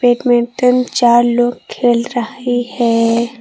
Badminton चार लोग खेल रही है।